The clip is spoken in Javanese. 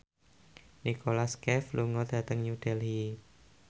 Nicholas Cafe lunga dhateng New Delhi